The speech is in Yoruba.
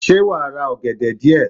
Sé wàá ra ọ̀gẹ̀dẹ̀ díè